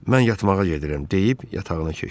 Mən yatmağa gedirəm deyib yatağına keçdi.